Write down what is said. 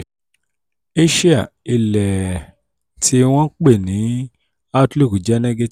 àsìá ilẹ̀ tí wọ́n ń pè ní outlook jẹ negative.